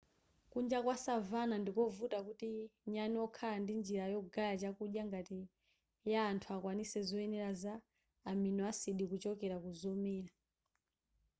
kunja kwa savanna ndikovuta kuti nyani wokhala ndi njira yogaya chakudya ngati ya anthu akwanitse zoyenera za amino acid kuchokera kuzomera